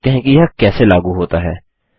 चलिए देखते हैं कि यह कैसे लागू होता है